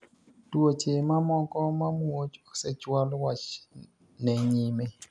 Tuoche ma moko ma muoch osechwal wach ne nyime.